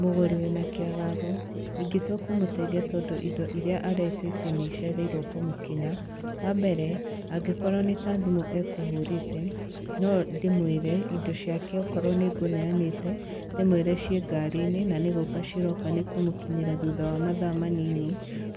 Mũgũrĩ wĩna kĩagago, ingĩtua kũmũteithia tondũ indo irĩa aretĩtie nĩ icererwo kũmũkinya, wa mbere, angĩkorwo nĩ ta thimũ ekũhũrĩte, no ndĩmũĩre indo ciake okorwo nĩ ngũneanĩte, ndĩmũĩre ciĩ ngari-inĩ na nĩgũko ciroka nĩ ikũmũkinyĩra thutha wa mathaa manini.